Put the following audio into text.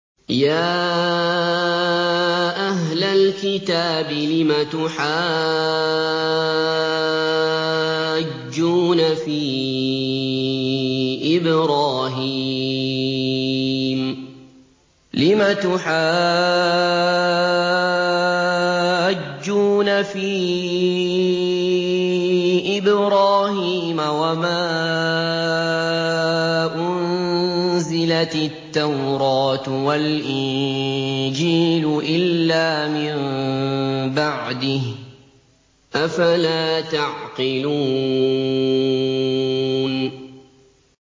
يَا أَهْلَ الْكِتَابِ لِمَ تُحَاجُّونَ فِي إِبْرَاهِيمَ وَمَا أُنزِلَتِ التَّوْرَاةُ وَالْإِنجِيلُ إِلَّا مِن بَعْدِهِ ۚ أَفَلَا تَعْقِلُونَ